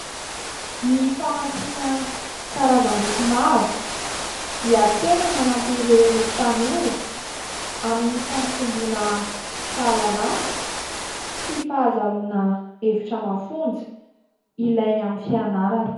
Ny famakiana karazam-boky maro dia tena manampy ireo tanora amin'ny fampitombona fahalalàna sy fahazoana hevitra mafonja ilainy amin'ny fianarany.